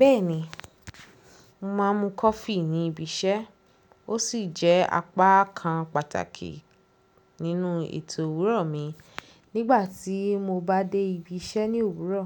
Bẹ́ẹ̀ni, mo máa ń mu coffee ní ibi iṣẹ́, ó sì jẹ́ apá kan pàtàkì nínú ètò òwúrọ̀ mi. Nígbà tí mo bá dé ibi iṣẹ́ ní òwúrọ̀,